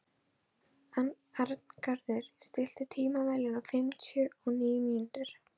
Arngarður, stilltu tímamælinn á fimmtíu og níu mínútur.